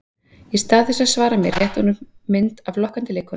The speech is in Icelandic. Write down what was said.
Í stað þess að svara mér rétti hún upp mynd af lokkandi leikkonu.